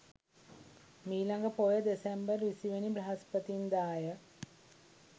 මීළඟ පෝය දෙසැම්බර් 20 වැනි බ්‍රහස්පතින්දා ය.